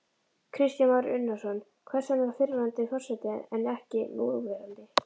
Kristján Már Unnarsson: Hvers vegna fyrrverandi forseti en ekki núverandi?